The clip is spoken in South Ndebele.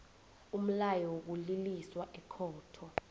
umlayo wokuliliswa ekhotho